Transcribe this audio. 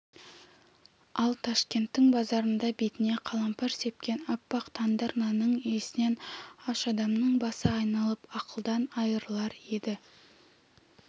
ал ташкенттің базарында бетіне қалампыр сепкен аппақ тандыр нанның иісінен аш адамның басы айналып ақылдан айырылар еді